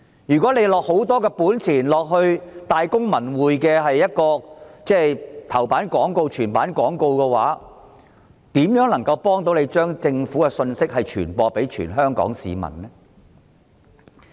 政府即使花費大筆金錢，在《大公報》及《文匯報》頭版刊登全頁廣告，是否就可有幫政府把信息傳播給全香港市民呢？